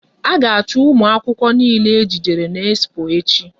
A ga achu ụmụ akwụkwọ niile e jidere n'expo echi!